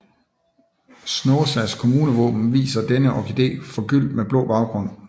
Snåsas kommunevåben viser denne orkidé forgyldt med blå baggrund